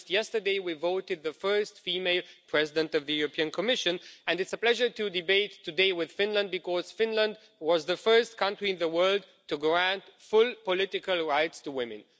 Just yesterday we voted in favour of the first female President of the European Commission, and it's a pleasure to debate today with Finland because Finland was the first country in the world to grant full political rights to women.